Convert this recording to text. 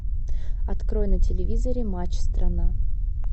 открой на телевизоре матч страна